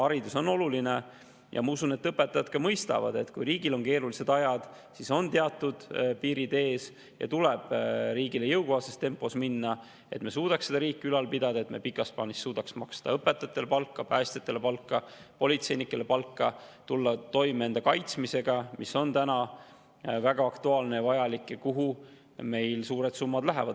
Haridus on oluline ja ma usun, et õpetajad mõistavad, et kui riigis on keerulised ajad, siis on teatud piirid ees ja tuleb liikuda riigile jõukohases tempos, et me suudaksime riiki ülal pidada, et suudaksime pikas plaanis maksta palka õpetajatele, päästjatele ja politseinikele ning tulla toime enda kaitsmisega, mis on täna väga aktuaalne ja vajalik ja kuhu meil lähevad suured summad.